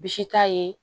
Bsi t'a ye